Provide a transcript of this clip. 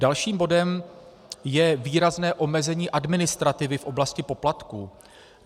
Dalším bodem je výrazné omezení administrativy v oblasti poplatků.